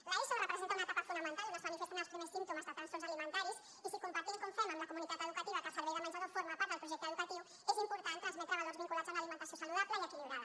l’eso representa una etapa fonamental on es manifesten els primers símptomes de trastorns alimentaris i si compartim com fem amb la comunitat educativa que el servei de menjador forma part del projecte educatiu és important transmetre valors vinculats a una alimentació saludable i equilibrada